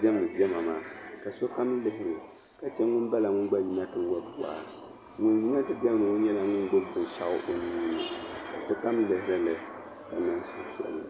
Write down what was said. diɛmdi diɛma maa ka sokam lihiri o ka che ŋun bala n-yino ti wari waa ŋun yina ti diɛmdi ŋɔ gbubi la binshɛɣu o nuu ni ka sokam lihiri li ka niŋ suhupiɛlli.